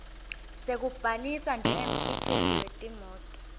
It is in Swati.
sekubhalisa njengemkhiciti wetimoti